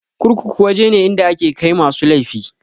Kurkuku waje ne inda ake kai masu laifi.